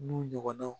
N'u ɲɔgɔnnaw